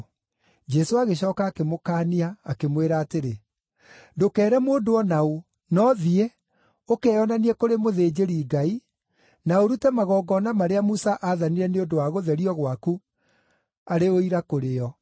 Jesũ agĩcooka akĩmũkaania, akĩmwĩra atĩrĩ, “Ndũkeere mũndũ o na ũ, no thiĩ, ũkeyonanie kũrĩ mũthĩnjĩri-Ngai, na ũrute magongona marĩa Musa aathanire nĩ ũndũ wa gũtherio gwaku, arĩ ũira kũrĩ o.”